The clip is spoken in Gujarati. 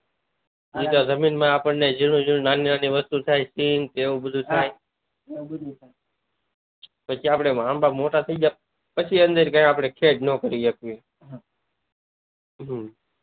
જેમ જેમ જમીન માં જેવી જેવી નાની નાની વસ્તુઓ થાય તેમ તેઊ બધું થાય પછી આપડે આંબા મોટા થઈ ગયા પછી અદર ગયા પછી ખેડ ના કરી શકીએ